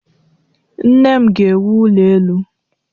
Nne m ga-ewu ụlọ elụ.